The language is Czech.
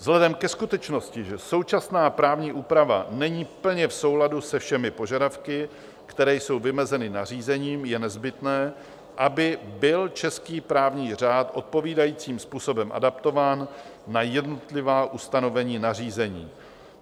Vzhledem ke skutečnosti, že současná právní úprava není plně v souladu se všemi požadavky, které jsou vymezeny nařízením, je nezbytné, aby byl český právní řád odpovídajícím způsobem adaptován na jednotlivá ustanovení nařízení."